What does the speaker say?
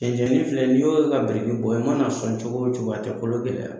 Cɛncɛnni filɛ, n'i y'o labɛn i i mana sɔn cogo cogo a tɛ kɔlɔ gɛlɛya